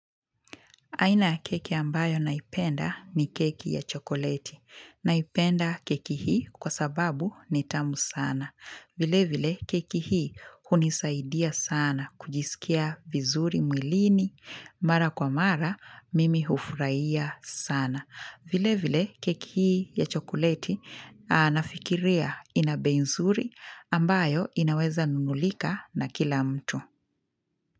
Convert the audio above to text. Aina keki ambayo naipenda ni keki ya chokoleti. Naipenda keki hii kwa sababu ni tamu sana. Vile vile keki hii hunisaidia sana kujisikia vizuri mwilini. Mara kwa mara mimi hufuraia sana. Vile vile keki hii ya chokoleti nafikiria ina bei nzuri ambayo inaweza nunulika na kila mtu.